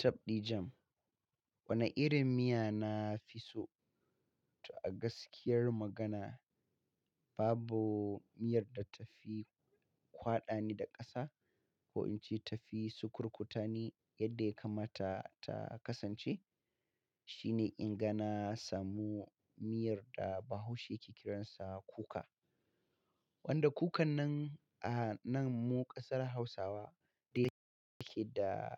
Tafɗi jam. Wane irin miya na fi so? To a gaskiyar magana, babu miyar da ta fi kwada ni da ƙasa ko in ce ta fi sukurkuta ni yadda ya kamata ta kasance. Shi ne in ga na samu miyar da Bahaushe yake kiransa kuka. Wanda kukan nan a nan mu ƙasar Hausawa dai take da